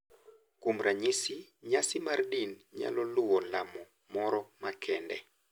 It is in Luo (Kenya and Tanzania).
Kuom ranyisi, nyasi mar din nyalo luwo lamo moro makende,